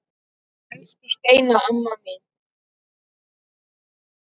Elsku Steina amma mín.